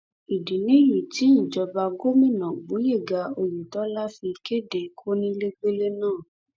ìdí nìyí tí ìjọba gómìnà gboyega oyètọ́lá fi kéde kónílégbélé náà